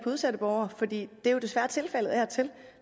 udsatte borgere for det er jo desværre tilfældet af og til